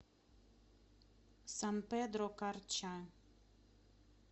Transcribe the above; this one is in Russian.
сан педро карча